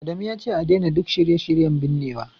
Adamu yace a daina duk shirye-shiryen binnewa